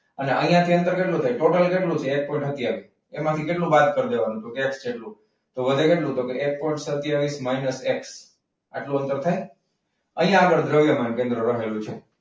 તો અહીંયા થી અંતર કેટલું થાય? ટોટલ કેટલું છે? એક પોઈન્ટ સત્તાવીસ. એમાંથી કેટલું બાદ કરવાનું તો કે એક જેટલું. તો વધે કેટલું? એક પોઈન્ટ સત્તાવીસ માઇનસ એક. આટલું અંતર થાય? અહીંયા આગળ દ્રવ્યમાન કેન્દ્ર રહેલું છે.